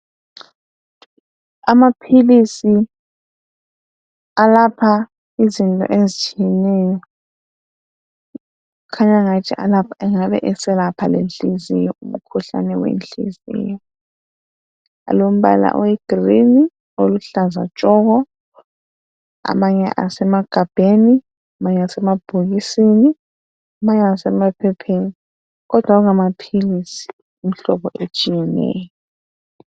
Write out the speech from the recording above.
Amaphilisi alapha izinto ezinengi kukhanya ngathi angabe eselapha umkhuhlane wenhliziyo. Alombala oyigreen oluhlaza tshoko. Amanye asemagabheni, amanye asemabhokisini, amanye asemapheoheni kodwa kungamaphilisi imihlobo etshiyeneyo.